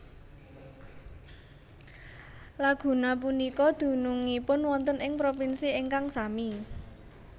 Laguna punika dunungipun wonten ing propinsi ingkang sami